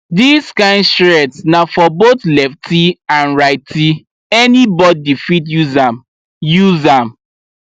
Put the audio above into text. dis kind shears na for both lefty and rightyanybody fit use am use am